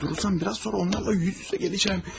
Burada durarsam biraz sonra onlarla üz-üzə gələcəm.